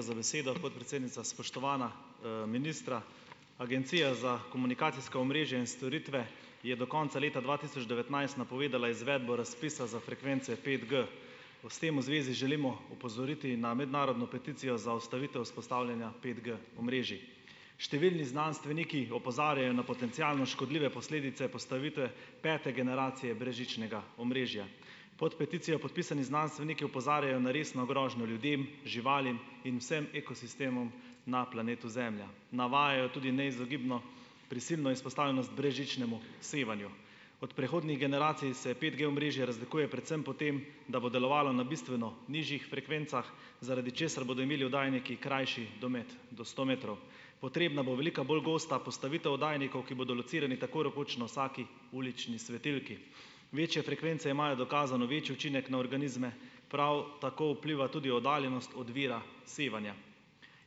za besedo, podpredsednica. Spoštovana, ministra, Agencija za komunikacijska omrežja in storitve je do konca leta dva tisoč devetnajst napovedala izvedbo razpisa za frekvence petG. S tem v zvezi želimo opozoriti na mednarodno peticijo za ustavitev vzpostavljanja petG-omrežij. Številni znanstveniki opozarjajo na potencialno škodljive posledice postavitve pete generacije brezžičnega omrežja. Pod peticijo podpisani znanstveniki opozarjajo na resno grožnjo ljudem, živalim in vsem ekosistemom na planetu Zemlja. Navajajo tudi neizogibno prisilno izpostavljenost brezžičnemu sevanju. Od prehodnih generacij se petG-omrežje razlikuje predvsem po tem, da bo delovalo na bistveno nižjih frekvencah, zaradi česar bodo imeli oddajniki krajši domet - do sto metrov. Potrebna bo velika bolj gosta postavitev oddajnikov, ki bodo locirani tako rekoč na vsaki ulični svetilki. Večje frekvence imajo dokazano večji učinek na organizme, prav tako vpliva tudi oddaljenost od vira sevanja.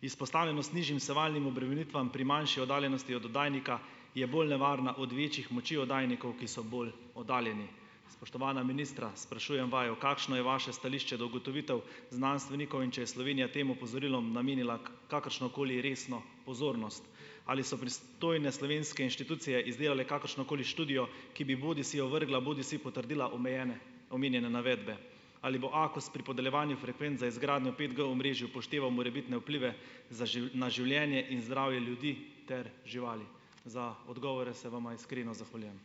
Izpostavljenost nižjim sevalnim obremenitvam pri manjši oddaljenosti oddajnika je bolj nevarna od večjih moči oddajnikov, ki so bolj oddaljeni. Spoštovana ministra, sprašujem vaju, kakšno je vaše stališče do ugotovitev znanstvenikov. In če je Slovenija tem opozorilom namenila kakršno koli resno pozornost? Ali so pristojne slovenske inštitucije izdelale kakršno koli študijo, ki bi bodisi ovrgla bodisi potrdila omejene omenjene navedbe? Ali bo AKOS pri podeljevanju frekvenc za izgradnjo petG-omrežij upošteval morebitne vplive za na življenje in zdravje ljudi ter živali? Za odgovore se vama iskreno zahvaljujem.